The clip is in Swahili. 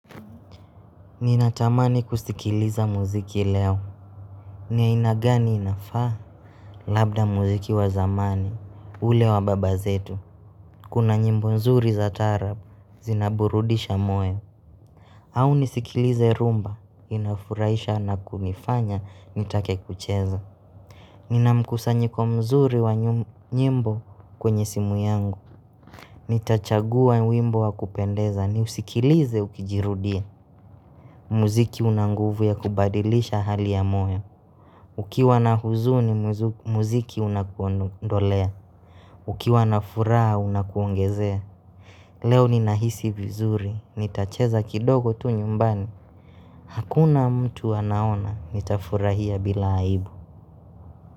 Ninatamani kusikiliza muziki leo Niyaina gani inafaa Labda muziki wa zamani, ule wa baba zetu Kuna nyimbo nzuri za taarabu, zinaburudisha moyo Au nisikilize rhumba, inafurahisha na kunifanya, nitake kucheza Ninamkusanyiko mzuri wa nyimbo kwenye simu yangu Nitachagua wimbo wa kupendeza, niusikilize ukijirudia Muziki unanguvu ya kubadilisha hali ya moyo Ukiwa na huzuni muziki unakuondolea Ukiwa na furaha unakuongezea Leo ni nahisi vizuri, nitacheza kidogo tu nyumbani Hakuna mtu anaona, nitafurahia bila aibu.